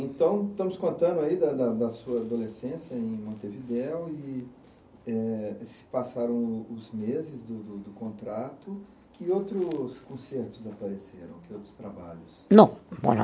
Então, estamos contando aí da da da sua adolescência em Montevideo e eh, e se passaram os meses do do do contrato. Que outros concertos apareceram? Que outros trabalhos? Não